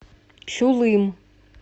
чулым